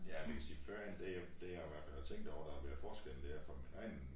Ja man kan sige førhen det det jeg i hvert fald har tænkt over der har været forskel dér fra min egen